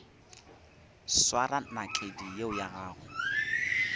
swara nakedi yeo ya gago